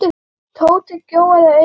Tóti gjóaði augunum á Örn.